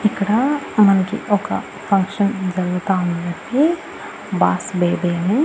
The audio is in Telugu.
ఇక్కడ మనకి ఒక ఫంక్షన్ జరుగుతా ఉందండి బాస్ బేబీ అని.